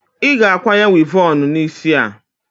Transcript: Ị ga-akwanye wivọọnụ n'isi a!